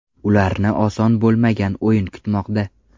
Ularni oson bo‘lmagan o‘yin kutmoqda.